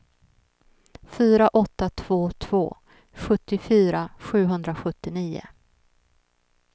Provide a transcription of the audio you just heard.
fyra åtta två två sjuttiofyra sjuhundrasjuttionio